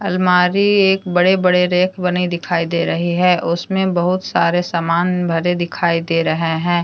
अलमारी एक बड़े बड़े रैक बने दिखाई दे रही है उसमें बहुत सारे सामान भरे दिखाई दे रहे है।